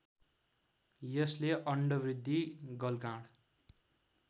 यसले अण्डवृद्धि गलगाँड